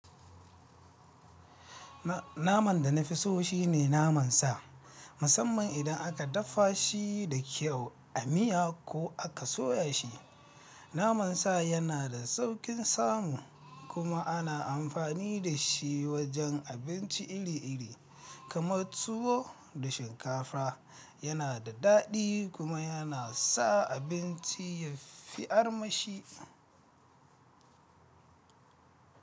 Na-- naman da na fi so shine naman sa, musamman idan aka dafa shi da kyau, a miya ko aka soya shi. Naman sa yana da sauƙin samu, kuma ana amfani da shi wajen abinci iri-iri, kamar tuwo da shinkafa, yana da daɗi, kuma yana sa abinci ya fi armashi.